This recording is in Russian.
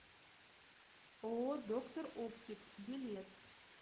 ооо доктор оптик билет